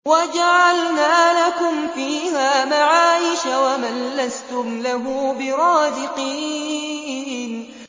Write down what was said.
وَجَعَلْنَا لَكُمْ فِيهَا مَعَايِشَ وَمَن لَّسْتُمْ لَهُ بِرَازِقِينَ